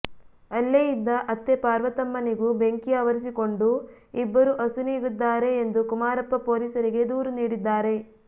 ಅಲ್ಲೇ ಇದ್ದ ಅತ್ತೆ ಪಾರ್ವತಮ್ಮನಿಗೂ ಬೆಂಕಿ ಆವರಿಸಿಕೊಂಡು ಇಬ್ಬರೂ ಅಸುನೀಗಿದ್ದಾರೆ ಎಂದು ಕುಮಾರಪ್ಪ ಪೊಲೀಸರಿಗೆ ದೂರು ನೀಡಿದ್ದಾರೆ